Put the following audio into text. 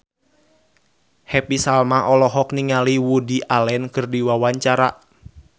Happy Salma olohok ningali Woody Allen keur diwawancara